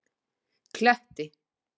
Kletti